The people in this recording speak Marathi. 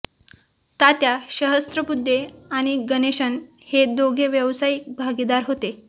तात्या सहस्रबुद्धे आणि गणेशन हे दोघे व्यावसायिक भागीदार होते